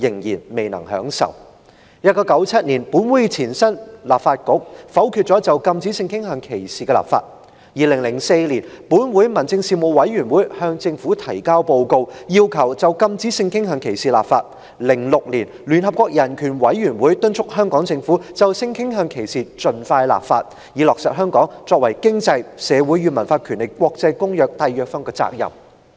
1997年，本會的前身立法局否決了就禁止性傾向歧視立法 ；2004 年，本會民政事務委員會向政府提交報告，要求就禁止性傾向歧視立法 ；2006 年，聯合國人權委員會敦促香港政府盡快就性傾向歧視立法，以履行香港作為《經濟、社會與文化權利的國際公約》締約方的責任。